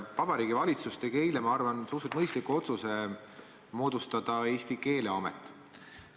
Vabariigi Valitsus tegi eile, ma arvan, suhteliselt mõistliku otsuse moodustada Eesti keeleamet.